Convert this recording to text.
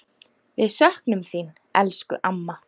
Við söknum þín, elsku amma.